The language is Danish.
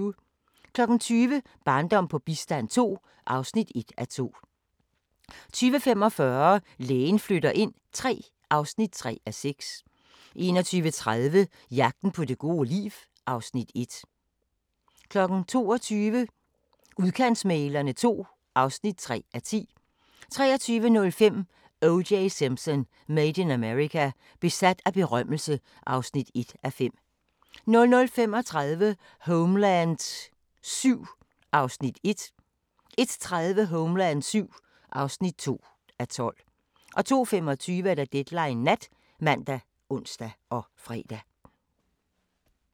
20:00: Barndom på bistand II (1:2) 20:45: Lægen flytter ind III (3:6) 21:30: Jagten på det gode liv (Afs. 1) 22:00: Udkantsmæglerne II (3:10) 23:05: O.J. Simpson: Made in America – besat af berømmelse (1:5) 00:35: Homeland VII (1:12) 01:30: Homeland VII (2:12) 02:25: Deadline Nat ( man, ons, fre)